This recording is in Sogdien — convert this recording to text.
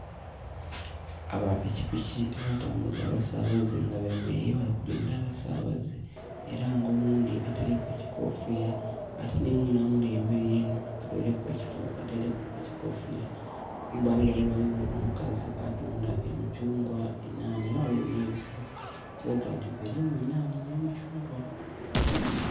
Aba pikipiki abatambuza abasaabaze nga bemeleire, bali kulinda abasaabaze. Era nga oghundi ataileku ekikoofira, ate ni mwine amuli emberi yena ataileku ekikoofira. Kumbali ghale ghaligho omukazi atunda emikyungwa, enhaanha, era ghaligho n'ebisero. Ekilaga nti birimu enhaanha n'emikyungwa.